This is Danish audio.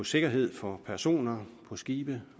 sikkerheden for personer på skibe